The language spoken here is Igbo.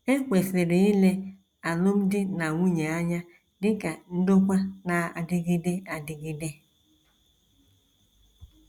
E kwesịrị ile alụmdi na nwunye anya dị ka ndokwa na - adịgide adịgide